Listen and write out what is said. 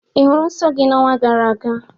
Ị hụrụ nsọ gị n'ọnwa gara aga?